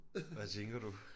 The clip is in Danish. Hvad tænker du